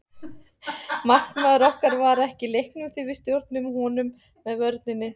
Markmaður okkar var ekki í leiknum því við stjórnuðum honum með vörninni.